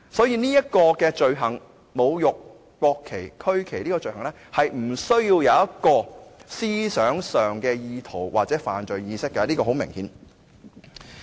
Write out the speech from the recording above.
因此，侮辱國旗及區旗這個罪行是無需有思想上的意圖或犯罪意識，這是很明顯的。